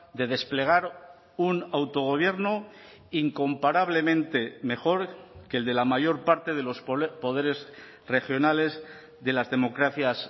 de desplegar un autogobierno incomparablemente mejor que el de la mayor parte de los poderes regionales de las democracias